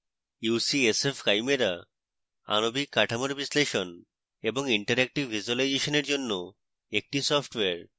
ucsf chimera আণবিক কাঠামোর বিশ্লেষণ এবং interactive ভিজুয়ালাইজেশনের জন্য একটি সফটওয়্যার